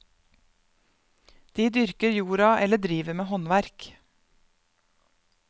De dyrker jorda eller driver med håndverk.